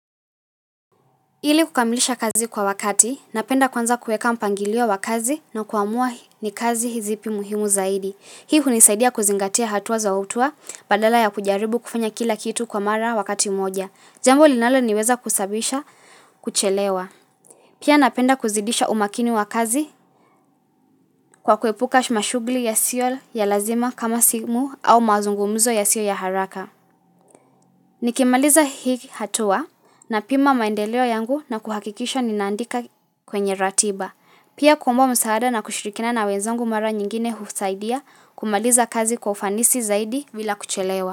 Ili kukamilisha kazi kwa wakati, napenda kuanza kueka mpangilio wa kazi na kuamua ni kazi zipi muhimu zaidi. Hii hunisaidia kuzingatia hatuwa za hutua badala ya kujaribu kufanya kila kitu kwa mara wakati moja. Jambo linalo niweza kusabisha kuchelewa. Pia napenda kuzidisha umakini wa kazi kwa kuepuka shumashugli yasio ya lazima kama simu au mazungumuzo yasio ya haraka. Nikimaliza hiki hatua napima maendeleo yangu na kuhakikisha ninaandika kwenye ratiba. Pia kuomba msaada na kushirikina na wenzangu mara nyingine husaidia kumaliza kazi kufanisi zaidi vile kuchelewa.